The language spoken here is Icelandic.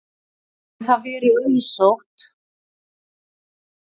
Hafi það verið auðsótt.